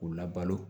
K'u labalo